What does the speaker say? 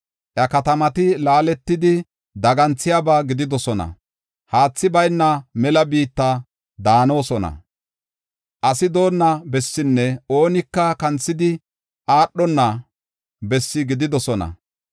Iya katamati laaletidi, daganthiyaba gididosona; haathi bayna mela biitta daanidosona; asi doonna bessinne oonika kanthidi aadhona bessi gididosona.